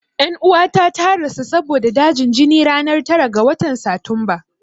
Ƴan uwata ta rasu saboda dajin jini ranar tara ga watan Satumba.